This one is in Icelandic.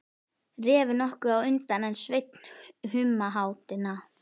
Refur nokkuð á undan en Sveinn í humáttinni.